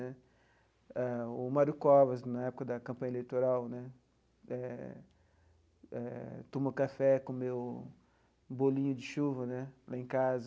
Né ah o Mário Covas, na época da campanha eleitoral né, eh eh tomou café, comeu bolinho de chuva né lá em casa.